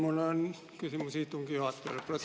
Mul on küsimus istungi juhatajale, protseduuriline.